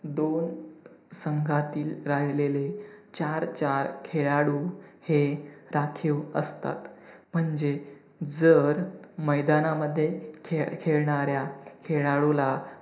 दोन संघातील राहिलेले चार-चार खेळाडू हे राखीव असतात, म्हणजे जर मैदानामध्ये खेळ खेळणाऱ्याला खेळाडूला